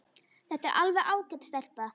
Þetta er alveg ágæt stelpa.